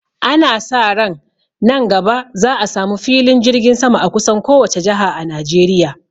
Ana sa ran nan gaba za a sa mu filin jirgin sama a kusan kowace jaha a Najeriya